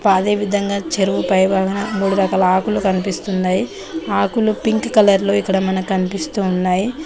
అదే విధంగా చెరువు పైభాగం మూడు రకాల ఆకులు కనిపిస్తున్నాయి ఆకులు పింక్ కలర్ లో ఇక్కడ మనకనిపిస్తూ ఉన్నాయి.